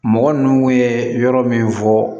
Mɔgɔ ninnu ye yɔrɔ min fɔ